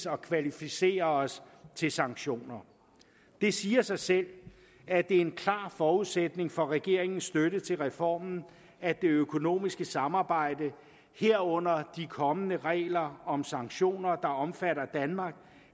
at kvalificere os til sanktioner det siger sig selv at det er en klar forudsætning for regeringens støtte til reformen at det økonomiske samarbejde herunder de kommende regler om sanktioner der omfatter danmark